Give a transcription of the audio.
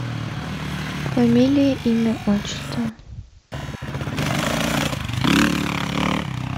фамилия имя отчество